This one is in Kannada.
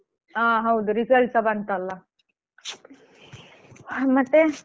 ಹಾ ಹೌದು result ಸ ಬಂತಲ್ಲ ಹಾ ಮತ್ತೆ?